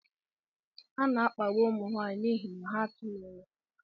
A na-akpagbu ụmụ nwaanyị n'ihi na ha tụghị ime.